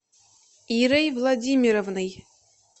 ирой владимировной